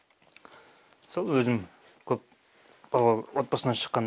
сол өзім көпбалалы отбасынан шыққан